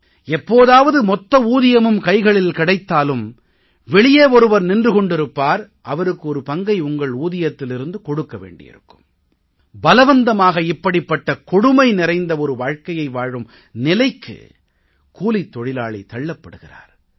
எப்போதாவது மொத்த ஊதியமும் கைகளில் கிடைத்தாலும் வெளியே ஒருவர் நின்று கொண்டிருப்பார் அவருக்கு ஒரு பங்கை உங்கள் ஊதியத்திலிருந்து கொடுக்க வேண்டி இருக்கும் பலவந்தமாக இப்படிப்பட்ட கொடுமை நிறைந்த வாழ்க்கையை வாழும் நிலைக்கு கூலித் தொழிலாளி தள்ளப் படுகிறார்